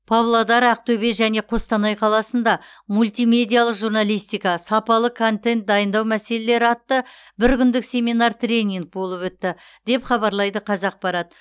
павлодар ақтөбе және қостанай қаласында мультимедиалық журналистика сапалы контент дайындау мәселелері атты бір күндік семинар тренинг болып өтті деп хабарлайды қазақпарат